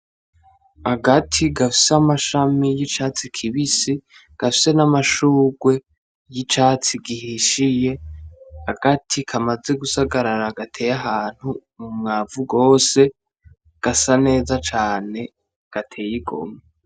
Agati gafise amashami y'icatsi kibisi, gafise n'amashurwe y'icatsi gihishiye, agati kamaze gusagarara gateye ahantu mu mwavu gose, gasa neza cane gateye igomwe.